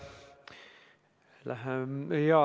Aitäh!